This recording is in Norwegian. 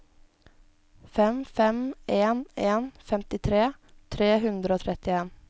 fem fem en en femtitre tre hundre og trettien